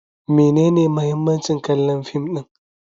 Menene muhimmancin kallon fim din?